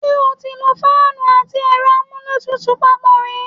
Ṣé o ti lo fáánù àti ẹ̀rọ amúlétutù papọ̀ rí?